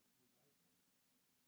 Það er mín trú.